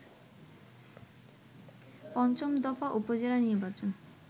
পঞ্চম দফা উপজেলা নির্বাচন